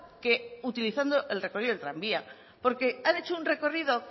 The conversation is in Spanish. que utilizando el recorrido del tranvía porque han hecho un recorrido